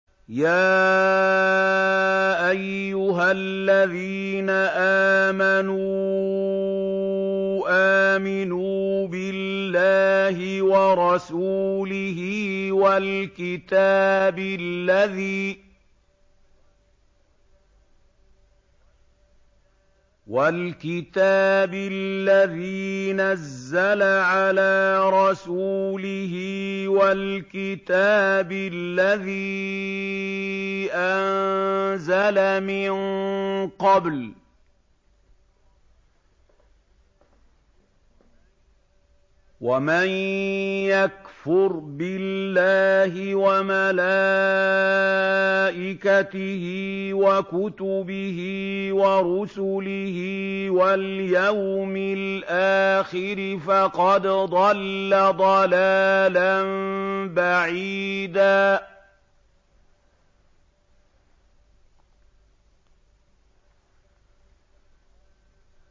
يَا أَيُّهَا الَّذِينَ آمَنُوا آمِنُوا بِاللَّهِ وَرَسُولِهِ وَالْكِتَابِ الَّذِي نَزَّلَ عَلَىٰ رَسُولِهِ وَالْكِتَابِ الَّذِي أَنزَلَ مِن قَبْلُ ۚ وَمَن يَكْفُرْ بِاللَّهِ وَمَلَائِكَتِهِ وَكُتُبِهِ وَرُسُلِهِ وَالْيَوْمِ الْآخِرِ فَقَدْ ضَلَّ ضَلَالًا بَعِيدًا